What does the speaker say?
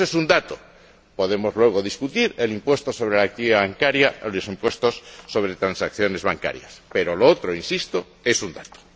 Eso es un dato, podemos luego discutir el impuesto sobre la actividad bancaria o los impuestos sobre transacciones bancarias, pero lo otro, insisto, es un dato.